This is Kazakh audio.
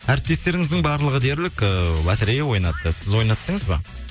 әріптестеріңіздің барлығы дерлік ыыы лоторея ойнатты сіз ойнаттыңыз ба